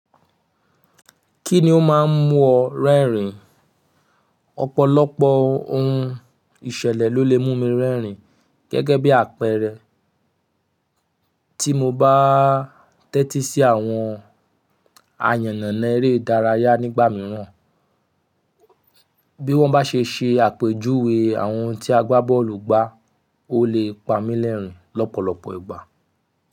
Kí ni ó máa ń mú ọ rẹ́rìn? Ọ̀pọ̀lọpọ̀ ohun ìṣẹ̀lẹ̀ ló lè mú mi rẹ́rìn gẹ́gẹ́ bí àpẹẹrẹ, tí mo bá tẹ́tí sí àwọn ayannana eré ìdárayá nígbà mìíràn. Bí wọ́n bá ṣe ṣe àpèjúwe àwọn tí a gbá bọ́ọ̀lù gbá, ó lè pa mí lẹ́rìn lọ́pọ̀lọpọ̀ ìgbà.